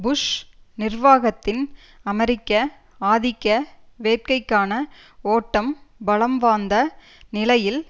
push நிர்வாகத்தின் அமெரிக்க ஆதிக்க வேட்கைக்கான ஓட்டம் பலம்வாந்த நிலையில்